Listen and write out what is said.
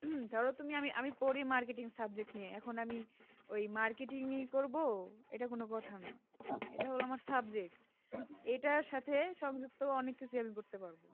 ধরো তুমি আমি পড়ি marketing subject নিয়ে এখন আমি ঐই marketing ই করবো এইটা কোনো কথা না এইটা হলো আমার subject এইটা সাথে সংযুক্ত অনেক কিছু আমি করতে পারবো